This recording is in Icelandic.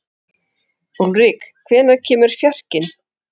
Úlrik, hvenær kemur fjarkinn?